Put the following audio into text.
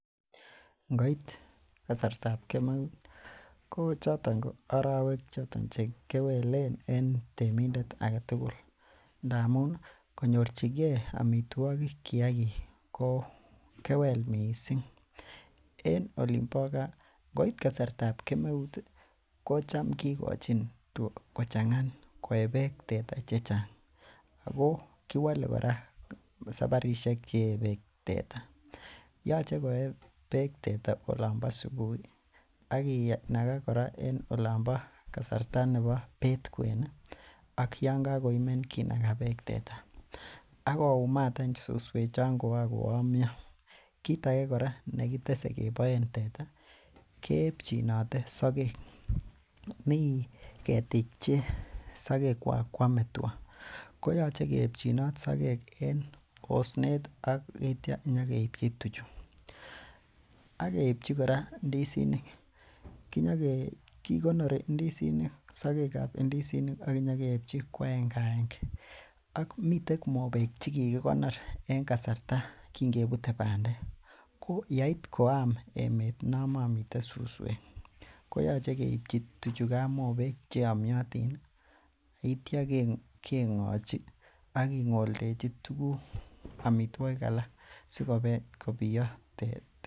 Ngoit kasartab kemeut ko choton ko arowek choton chekewelen en temindet aketugul amun konyorchigee amitwogik kiagik ko kewel missing. En olin bo gaa ngoit kasartab kemeut ih ko cham kikochin tuga kochang'a koee beek teta chechang ako kiwole kora saparisiek cheyee beek teta yoche koyee beek teta olon bo subui ak kinaga kora en olon bo kasarta nebo beet kwen ih ak yan kakoimen kinaga beek teta akoumat any suswek chon koan koyomyo kit age kora nekitese keboen teta keeepchinote sogek, mii ketiik che sogek kwak koame tuga koyoche keepchinot sogek en osnet ak itya nyokeipchi tuchu ak keipchi kora ndisinik kinyoke kikonori ndisinik sogek ab ndisinik ak nyokeipchi ko agenge agenge ak miten mobek chekikinor en kasarta kin kebute bandek ko yeit koam emet non momiten suswek koyoche keipchi tuguchan mobek cheyomyotin ak itya keng'ochi ak king'oldechi tuguk amitwogik alak sikobiyo teta